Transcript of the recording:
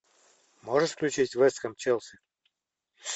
можешь включить вест хэм челси